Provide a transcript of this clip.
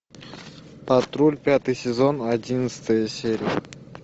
патруль пятый сезон одиннадцатая серия